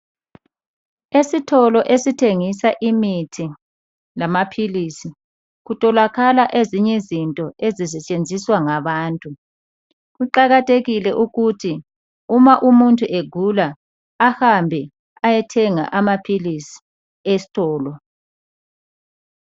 Esitolo esithengisa imithi lamaphilisi, kutholakala ezinye izinto ezisetshenziswa ngabantu, kuqakathekile ukuthi uma umuntu egula, ahambe ayethenga amaphilisi esitolo.